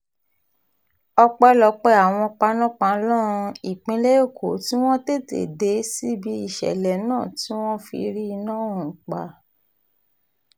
ọpẹ́lọpẹ́ àwọn panápaná ìpínlẹ̀ èkó tí wọ́n tètè dé síbi ìṣẹ̀lẹ̀ náà tí wọ́n fi rí iná ọ̀hún pa